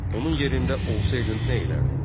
Onun yerində olsaydın nə edərdin?